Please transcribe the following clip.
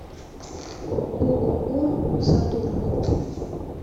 ооо сатурн